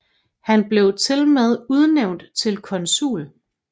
Han blev tilmed udnævnt til konsul